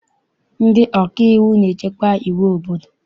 Ndị ọkaiwu na-echekwa iwu obodo.